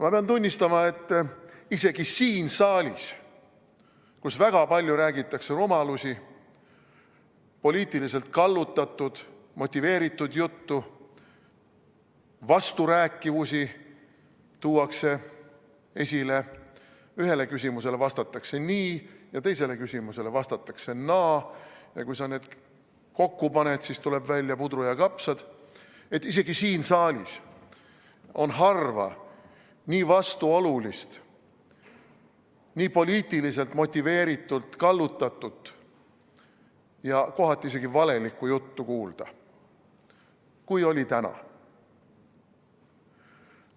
Ma pean tunnistama, et isegi siin saalis, kus väga palju räägitakse rumalusi, poliitiliselt kallutatud, motiveeritud juttu, tuuakse esile vasturääkivusi, ühele küsimusele vastatakse nii ja teisele küsimusele vastatakse naa ja kui sa need kokku paned, siis tuleb välja puder ja kapsad – isegi siin saalis on harva nii vastuolulist, nii poliitiliselt motiveeritult kallutatud ja kohati isegi valelikku juttu kuulda, kui oli täna.